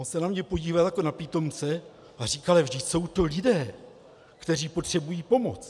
On se na mě podíval jako na pitomce a říkal: Ale vždyť jsou to lidé, kteří potřebují pomoc.